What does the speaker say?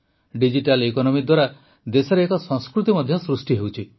digital economy ଦ୍ୱାରା ଦେଶରେ ଏକ ସଂସ୍କୃତି ମଧ୍ୟ ସୃଷ୍ଟି ହେଉଛି